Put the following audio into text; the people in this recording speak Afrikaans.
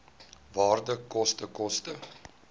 waarde koste koste